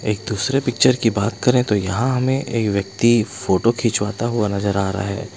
एक दूसरे पिक्चर की बात करे तो यहां हमें एक व्यक्ति फोटो खिंचवाता हुआ नजर आ रहा है।